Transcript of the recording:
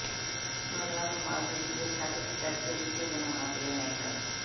ਨੌਜਵਾਨ ਨੂੰ ਮਾਲਗੱਡੀ ਦੀ ਛੱਤ ਤੇ ਚੜ੍ਹ ਕੇ ਵੀਡੀਓ ਬਣਾਉਣਾ ਪਿਆ ਮਹਿੰਗਾ